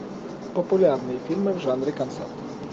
популярные фильмы в жанре концерт